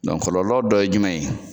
Kɔlɔkɔlɔ dɔ ye jumɛn ye ?